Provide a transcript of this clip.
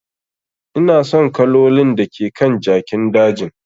Ina son kalolin da ke kan jakin dajin.